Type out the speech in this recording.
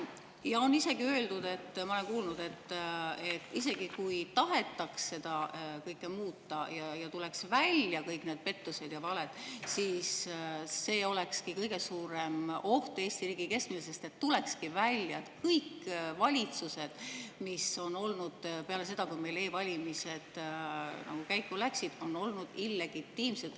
Ja on isegi öeldud, ma olen kuulnud, et isegi kui tahetaks seda kõike muuta ja tuleks välja kõik need pettused ja valed, siis see olekski kõige suurem oht Eesti riigi kestmisele, sest tuleks välja, et kõik valitsused, mis on olnud peale seda, kui meil e-valimised käiku läksid, on olnud illegitiimsed.